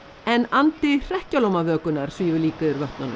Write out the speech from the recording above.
en andi svífur líka yfir vötnunum